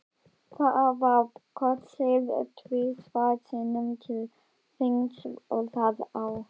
Það var kosið tvisvar sinnum til þings það ár.